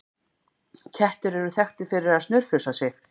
Kettir eru þekktir fyrir að snurfusa sig.